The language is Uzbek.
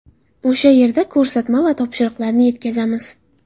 O‘sha yerda ko‘rsatma va topshiriqlarni yetkazamiz.